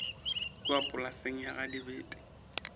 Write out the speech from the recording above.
kua polaseng ya ga dibete